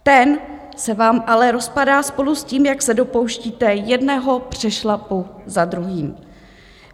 Ten se vám ale rozpadá spolu s tím, jak se dopouštíte jednoho přešlapu za druhým.